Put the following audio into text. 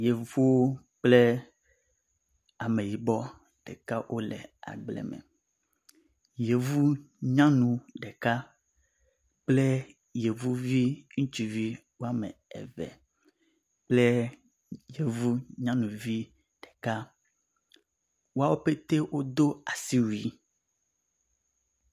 yevu kple ameyibɔ ɖeka wóle agble me yevu nyanu ɖeka kple yevuvi ŋutsu woame eve yevu nyaŋuvi ɖeka woawo pɛtɛ wodó asiwui